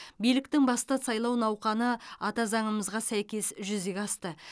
биліктің басты сайлау науқаны ата заңымызға сәйкес жүзеге асты